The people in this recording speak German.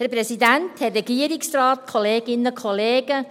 Freie Debatte: Ich kann Sie grüssen.